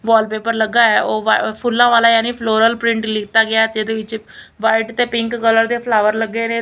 Wallpaper ਲੱਗਾ ਹੈ ਉਹ ਫੁੱਲਾਂ ਵਾਲਾ ਯਾਨੀ ਫਲੋਰਲ ਪ੍ਰਿੰਟ ਲੀਤਾ ਗਿਆ ਜਿਹਦੇ ਵਿੱਚ ਵਾਈਟ ਤੇ ਪਿੰਕ ਕਲਰ ਦੇ ਫਲਾਵਰ ਲੱਗੇ ਨੇ।